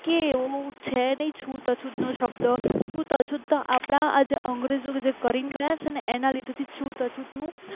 કે એવું છે નહીં છૂત અછૂત નો શબ્દ છૂત અછૂત આપણા અંગ્રેજો જે કરી ગયા છે ને એના લીધે છૂત અછૂતનું